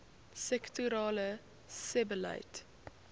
sektorale sebbeleid